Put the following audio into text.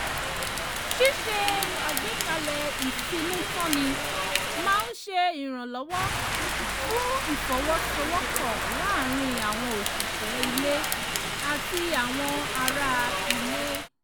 ṣíṣe àgbékalẹ̀ ìfinútànni máa ń ṣe ìrànlọ́wọ́ fún ìfọwọ́sowọ́pọ̀ láàrin àwọn òṣìṣẹ́ ilé àti àwọn ara ilé